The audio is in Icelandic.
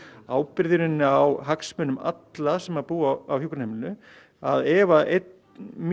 ábyrgð á hagsmunum allra sem búa á hjúkrunarheimilinu að ef að einn mjög